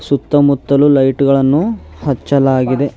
ಸುತ್ತ ಮುತ್ತಲು ಲೈಟ್ ಗಳನ್ನು ಹಚ್ಚಲಾಗಿದೆ.